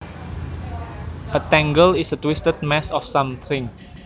A tangle is a twisted mass of something